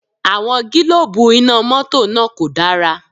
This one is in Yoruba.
Àwọn gílóòbù Iná mọ́tọ̀ náà kò dára